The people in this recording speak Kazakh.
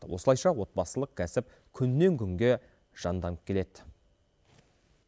осылайша отбасылық кәсіп күннен күнге жанданып келеді